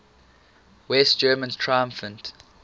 west germans triumphed